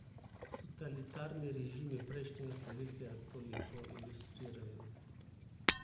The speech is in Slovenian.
Totalitarni režimi prejšnjega stoletja to lepo ilustrirajo.